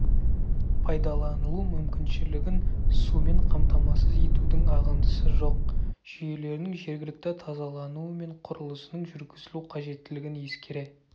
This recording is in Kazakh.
пайдаланылу мүмкіншілігін сумен қамтамасыз етудің ағындысы жоқ жүйелерінің жергілікті тазалануы мен құрылысының жүргізілу қажеттілігін ескере